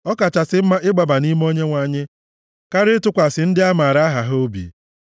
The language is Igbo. Ọ kachasị mma ịgbaba nʼime Onyenwe anyị karịa ịtụkwasị ndị amara aha ha obi.